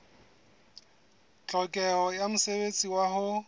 tlhokeho ya mosebetsi wa ho